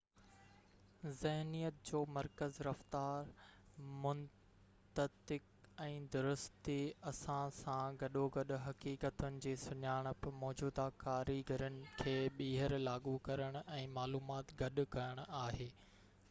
ذهنيت جو مرڪز رفتار منطق ۽ درستي ان سان گڏوگڏ حقيقتن جي سڃاڻپ موجوده ڪاريگرين کي ٻيهر لاڳو ڪرڻ ۽ معلومات گڏ ڪرڻ آهي